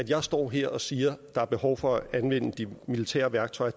jeg står her og siger at der er behov for at anvende de militære værktøjer